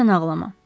Tək sən ağlama.